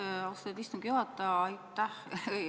Aitäh, austatud istungi juhataja!